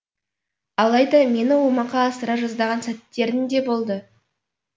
алайда мені омақа асыра жаздаған сәттерің де болды